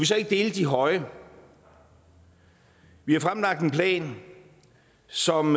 så ikke dele de høje vi har fremlagt en plan som